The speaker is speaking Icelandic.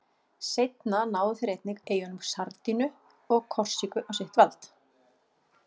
Seinna náðu þeir einnig eyjunum Sardiníu og Korsíku á sitt vald.